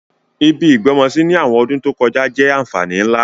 Ibi ìgbọ́mọsí ni àwọn ọdún to kojá jẹ́ ànfàní nlá.